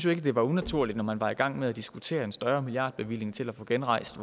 ikke at det var unaturligt når man var i gang med at diskutere en større milliardbevilling til at få genrejst